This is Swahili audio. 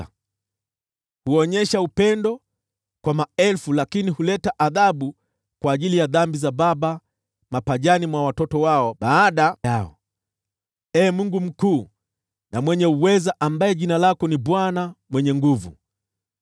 Wewe huonyesha upendo kwa maelfu, lakini huleta adhabu kwa ajili ya dhambi za baba mapajani mwa watoto wao baada yao. Ee Mungu mkuu na mwenye uweza, ambaye jina lako ni Bwana Mwenye Nguvu Zote,